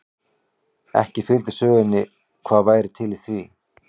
Ekki fylgdi sögunni hvað væri til í því.